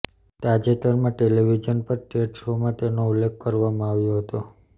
તાજેતરમાં ટેલીવીઝન પર ટેડ શોમાં તેનો ઉલ્લેખ કરવામાં આવ્યો હતો